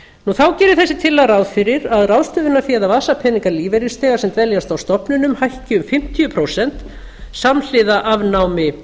þá gerir þessi tillaga ráð fyrir að ráðstöfunarfé og vasapeningar lífeyrisþega sem dveljast á stofnunum hækki um fimmtíu prósent samhliða afnámi